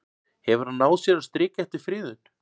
Hefur hann náð sér á strik eftir friðun?